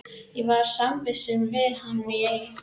Ég var samvistum við hann í